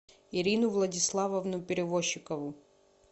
ирину владиславовну перевощикову